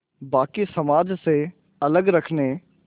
बाक़ी समाज से अलग रखने